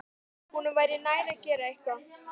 Honum væri nær að gera eitthvað.